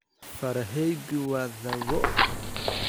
Farahaygu waa dhoobo.